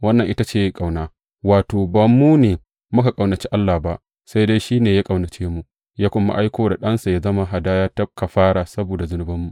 Wannan ita ce ƙauna, wato, ba mu ne muka ƙaunaci Allah ba, sai dai shi ne ya ƙaunace mu, ya kuma aiko Ɗansa yă zama hadaya ta kafara saboda zunubanmu.